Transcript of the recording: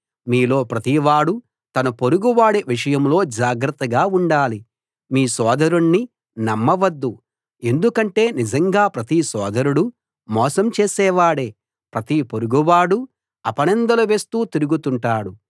మీలో ప్రతివాడూ తన పొరుగువాడి విషయంలో జాగ్రత్తగా ఉండాలి ఏ సోదరుణ్నీ నమ్మవద్దు ఎందుకంటే నిజంగా ప్రతి సోదరుడూ మోసం చేసేవాడే ప్రతి పొరుగువాడూ అపనిందలు వేస్తూ తిరుగుతుంటాడు